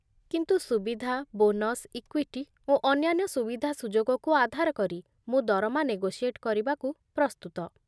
କିନ୍ତୁ ସୁବିଧା, bonus, equity, ଓ ଅନ୍ୟାନ୍ୟ ସୁବିଧାସୁଯୋଗକୁ ଆଧାର କରି ମୁଁ ଦରମା ନେଗୋସିଏଟ୍ କରିବାକୁ ପ୍ରସ୍ତୁତ